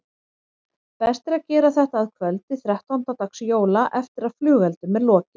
Best er að gera þetta að kvöldi þrettánda dags jóla eftir að flugeldum er lokið.